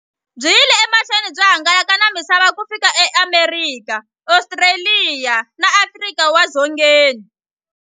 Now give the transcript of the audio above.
Byi yile emahlweni byi hangalaka na misava ku fika e Amerika, Ostraliya na Afrika wale dzongeni.